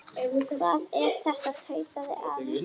Hvað er þetta? tautaði afi.